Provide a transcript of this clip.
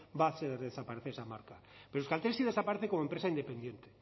va a hacer desaparecer esa marca pero euskaltel sí desaparece como empresa independiente